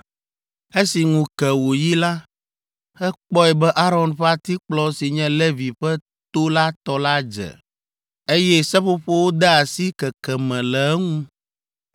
Esi ŋu ke wòyi la, ekpɔ be Aron ƒe atikplɔ si nye Levi ƒe to la tɔ la dze, eye seƒoƒowo de asi keke me le eŋu!